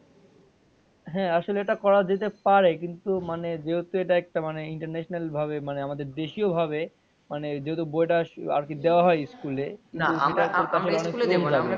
হ্যাঁ আসলে এটা করা যেতে পারে কিন্তু মানে যেহেতু এটা একটা মানে international ভাবে মানে আমাদের দেশীও ভাবে মানে যেহেতু বইটা দেওয়া হয় ইস্কুলে,